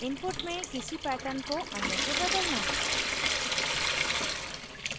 input में किसी pattern को अन्य से बदलना